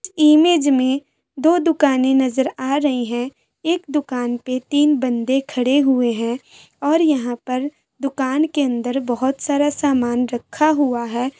Image में दो दुकाने नज़र आ रही है एक दुकान पे तीन बंदे खड़े हुए है और यहाँ पर दुकान के अंदर बोहोत सारा सामान रखा हुआ है।